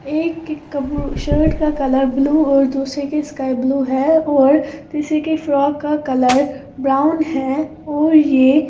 एक की कबू शर्ट का कलर ब्लू और दूसरे की स्काई ब्लू है और तीसरे की फ्रॉक का कलर ब्राउन है और ये--